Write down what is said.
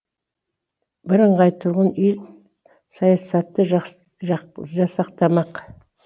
бірыңғай тұрғын үй саясаты жасақталмақ